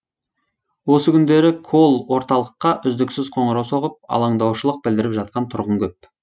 осы күндері колл орталыққа үздіксіз қоңырау соғып алаңдаушылық білдіріп жатқан тұрғын көп